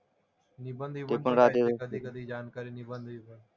निबंध विबंध पण राहते कधी कधी जानकारी निबंध विबंध.